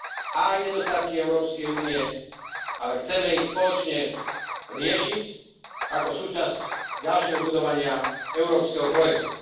a aj nedostatky Európskej únie, ale chceme ich spoločne riešiť ako súčasť ďalšieho budovania európskeho projektu.